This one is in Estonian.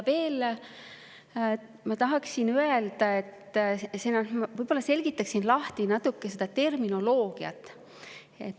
Veel tahaksin natuke terminoloogiat lahti seletada.